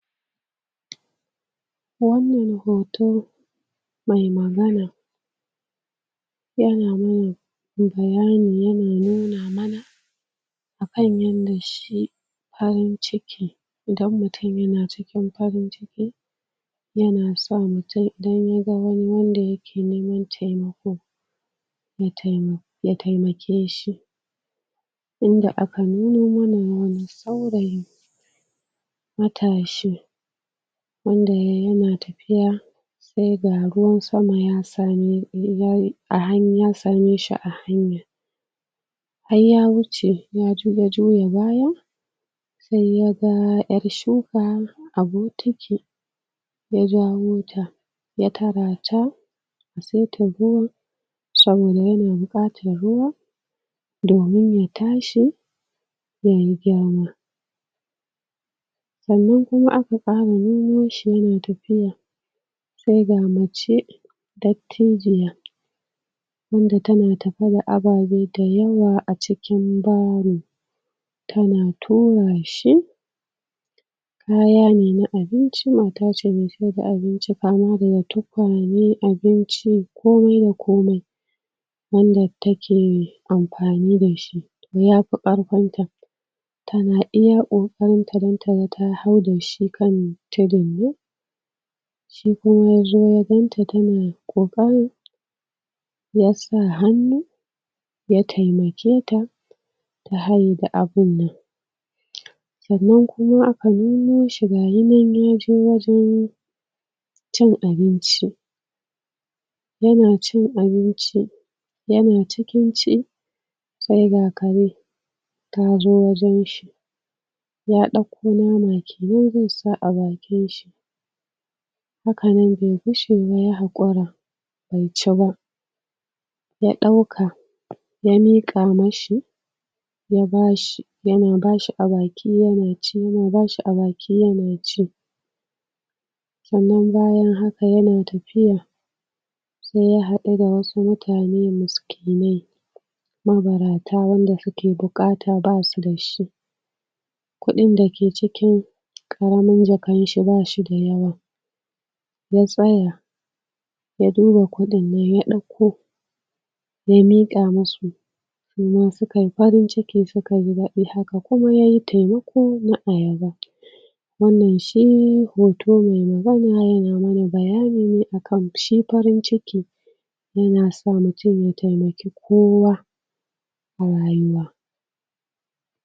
Wannan hoto na magana ana mana da bayanin, ya na nuna mana akan yanda shi farin ciki idan mutum ya na cikin farin ciki, ya na so ya taimaka wa duk wanda yake neman taimako ya taimake shi. Inda aka nuno mana wani saurayi matashi wanda yayi ya na tafiya sai ga ruwan sama ya same shi a hanya, har ya wuce yazo juya baya sai yaga ƴar shuka a bokiti wajan mota, wata mata sai ta zo sannan ya na buƙatar ruwa domin ya tashi, dan ya girma. Sannan kuma aka ƙara nuno shi ya na tafiya sai ga mace dattijiya wanda ta na tafiya, ababe da yawa a cikin baro ta na tura shi, kaya ne na abinci. Mata ce mai siyar da abinci kamar tuƙwane, abinci, komai da komai yanda take amfani dashi yafi karfinta, ta na iya ƙokarinta dan taga ta hau dashi kan tudunnan, shi kuma yazo ya ganta ta na ƙokarin ya sa hannu ya taimaketa ta hayo da abun nan. Sannan kuma aka nuno shi gashinan yaje wajan cin abinci ya na cin abinci, ya na cikin ci sai ga kare ta zo wajan shi ya ɗauko nama kenan zai sa a bakin shi sai karen mai fishi ya haƙura bai ci ba, ya ɗauka ya mika mashi, ya bashi, ya na bashi a baki yana ci, ya bashi a baki ya na ci, sannan bayan haka, ya na tafiya sai ya haɗu da wasu mutane miskillai mabarata wanda suke buƙata, basu da shi kuɗin dake cikin karamin jakanshi, ba shi da yawa, ya tsaya ya duba kuɗinnan ya ɗauko, ya miƙa musu. Sannan su ka yi farin ciki, suka ji daɗi. Haka kuma yayi taimako dan a ya ba wannan shi hotone ya na mana bayanine akan shi farin ciki. Allah yasa muje mu taimaki kowa a rayuwa.